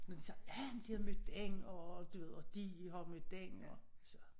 Men så ja men de havde mødt den og du ved de har mødt den og så